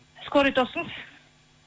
скорый тосыңыз